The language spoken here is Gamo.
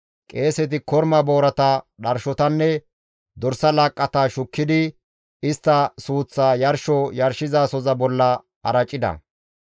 Qeeseti korma boorata, dharshotanne dorsa laaqqata shukkidi istta suuththaa yarsho yarshizasoza bolla aracida;